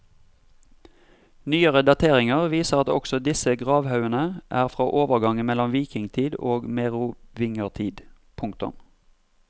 Nyere dateringer viser at også disse gravhaugene er fra overgangen mellom vikingtid og merovingertid. punktum